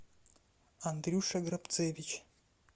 андрюша грабцевич